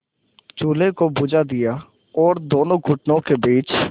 चूल्हे को बुझा दिया और दोनों घुटनों के बीच